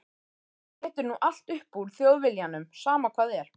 Þú étur nú allt upp úr Þjóðviljanum, sama hvað er.